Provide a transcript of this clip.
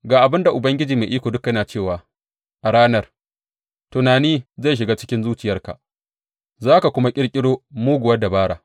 Ga abin da Ubangiji Mai Iko Duka yana cewa a ranar, tunani zai shiga cikin zuciyarka za ka kuma ƙirƙiro muguwar dabara.